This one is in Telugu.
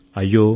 అయ్యో